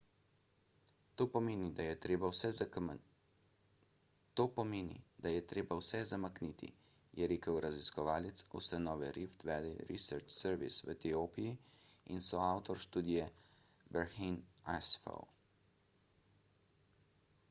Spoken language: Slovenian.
to pomeni da je treba vse zamakniti je rekel raziskovalec ustanove rift valley research service v etiopiji in soavtor študije berhane asfaw